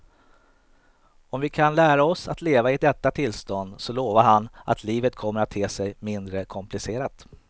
Och om vi kan lära oss att leva i detta tillstånd så lovar han att livet kommer att te sig mindre komplicerat.